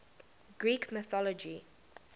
greek mythology